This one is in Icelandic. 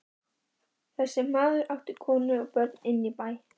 Þessi maður átti konu og börn inní bæ.